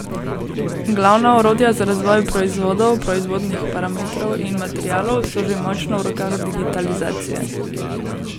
Glavna orodja za razvoj proizvodov, proizvodnih parametrov in materialov so že močno v rokah digitalizacije.